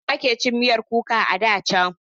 Hausawa ke cin miyar kuka a da can.